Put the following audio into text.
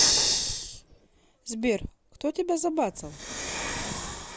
сбер кто тебя забацал